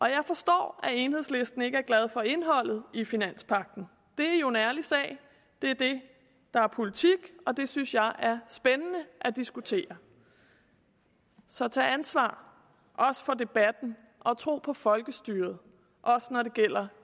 jeg forstår at enhedslisten ikke er glad for indholdet i finanspagten det er jo en ærlig sag det er det der er politik og det synes jeg er spændende at diskutere så tag ansvar også for debatten og tro på folkestyret også når det gælder